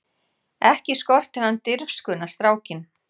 Ekki skortir hann dirfskuna strákinn!